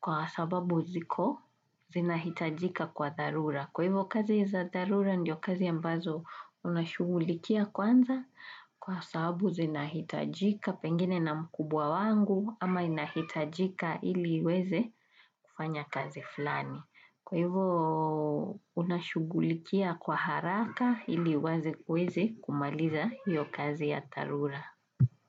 kwa sababu ziko zinahitajika kwa darura. Kwa hivyo kazi za darura ndio kazi ambazo unashugulikia kwanza kwa sababu zinahitajika pengine na mkubwa wangu ama inahitajika ili weze kufanya kazi flani. Kwa hivo unashughulikia kwa haraka ili waze kweze kumaliza hiyo kazi ya tarura.